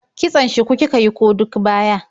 Kitson shuku kika yi ko duk baya?